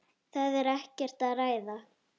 Það er ekkert að ræða.